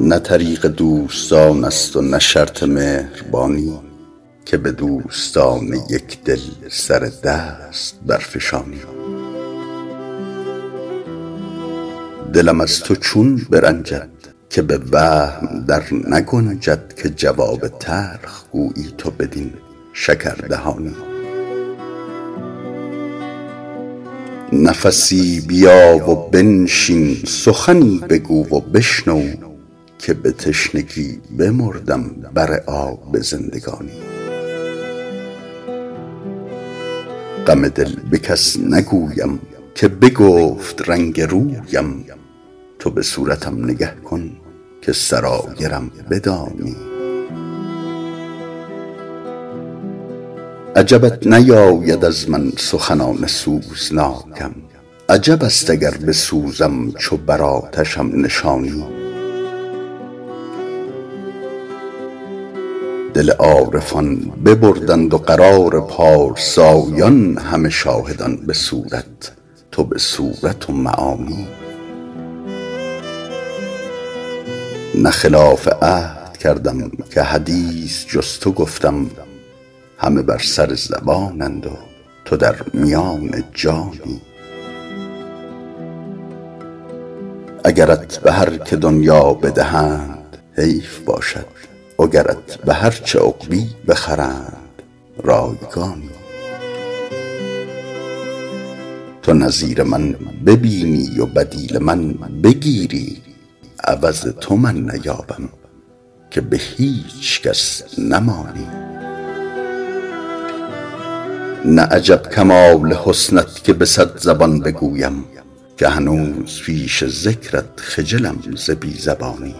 نه طریق دوستان است و نه شرط مهربانی که به دوستان یک دل سر دست برفشانی دلم از تو چون برنجد که به وهم در نگنجد که جواب تلخ گویی تو بدین شکردهانی نفسی بیا و بنشین سخنی بگو و بشنو که به تشنگی بمردم بر آب زندگانی غم دل به کس نگویم که بگفت رنگ رویم تو به صورتم نگه کن که سرایرم بدانی عجبت نیاید از من سخنان سوزناکم عجب است اگر بسوزم چو بر آتشم نشانی دل عارفان ببردند و قرار پارسایان همه شاهدان به صورت تو به صورت و معانی نه خلاف عهد کردم که حدیث جز تو گفتم همه بر سر زبانند و تو در میان جانی اگرت به هر که دنیا بدهند حیف باشد وگرت به هر چه عقبی بخرند رایگانی تو نظیر من ببینی و بدیل من بگیری عوض تو من نیابم که به هیچ کس نمانی نه عجب کمال حسنت که به صد زبان بگویم که هنوز پیش ذکرت خجلم ز بی زبانی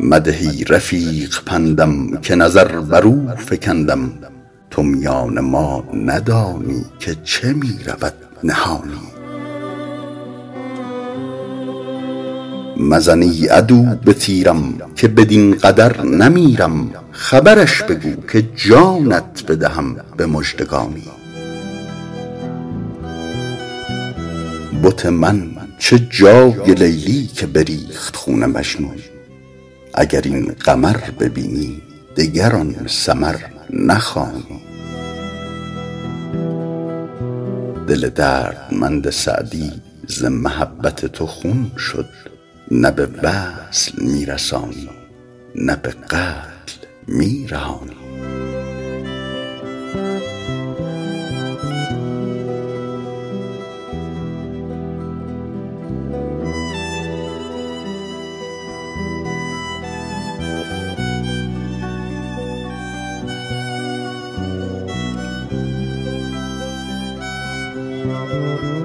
مده ای رفیق پندم که نظر بر او فکندم تو میان ما ندانی که چه می رود نهانی مزن ای عدو به تیرم که بدین قدر نمیرم خبرش بگو که جانت بدهم به مژدگانی بت من چه جای لیلی که بریخت خون مجنون اگر این قمر ببینی دگر آن سمر نخوانی دل دردمند سعدی ز محبت تو خون شد نه به وصل می رسانی نه به قتل می رهانی